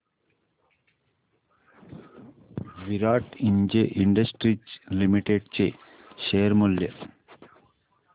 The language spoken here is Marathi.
विराट इंडस्ट्रीज लिमिटेड चे शेअर मूल्य